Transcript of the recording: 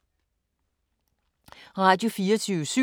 Radio24syv